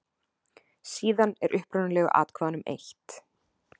Síðan er upprunalegu atkvæðunum eytt.